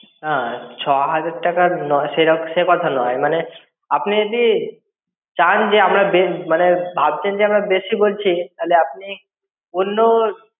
না ছ হাজার টাকা নয় সে সেকথা নয় মানে আপনি যদি চান যে আমরা বে মানে ভাবছেন আমরা বেশি বলছি তাহলে আপনি অন্য